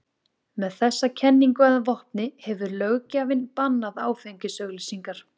Með þessa kenningu að vopni hefur löggjafinn bannað áfengisauglýsingar.